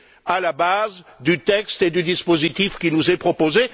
à la base du texte et du dispositif qui nous est proposé.